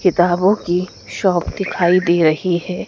किताबों की शॉप दिखाई दे रही हैं।